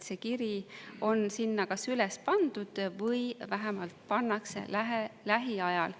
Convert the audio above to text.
See kiri on sinna kas üles pandud või vähemalt pannakse lähiajal.